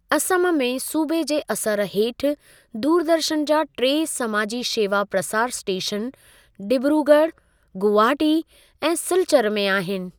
असम में सूबे जे असरू हेठि दूरदर्शन जा टे समाजी शेवा प्रसारु स्टेशन डिब्रूगढ़, गुवाहाटी ऐं सिलचर में आहिनि।